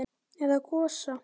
Eða Gosa?